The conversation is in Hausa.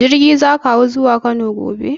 Jirgi za ka hau zuwa Kano gobe?